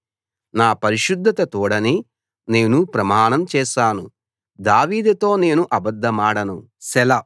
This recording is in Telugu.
నా పరిశుద్ధత తోడని నేను ప్రమాణం చేశాను దావీదుతో నేను అబద్ధమాడను సెలా